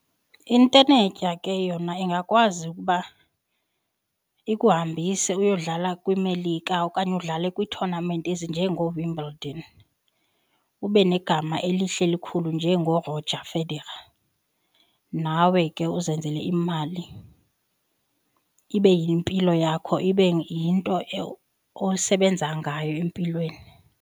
Intenetya ke yona ingakwazi ukuba ikuhambise uyodlala kwiMelika okanye udlale kwii-tournament ezinjengooWimbledon ube negama elihle elikhulu njengoo Rodger Federer nawe ke uzenzele imali. Ibe yimpilo yakho, ibe yinto osebenza ngayo empilweni.